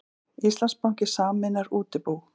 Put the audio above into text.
Íslandsbanki sameinar útibú